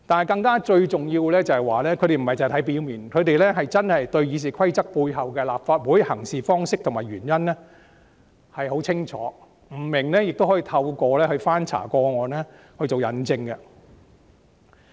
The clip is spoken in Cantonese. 更重要的是，他們不單只看文字的表面意思，更了解《議事規則》訂明立法會行事方式背後的原因，不明白時更會翻查過往的事例，以作佐證。